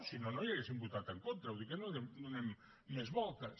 si no no hi haurien votat en contra vull dir que no hi donem més voltes